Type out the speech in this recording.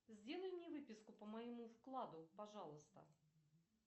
сделай мне выписку по моему вкладу пожалуйста